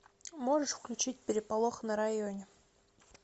можешь включить переполох на районе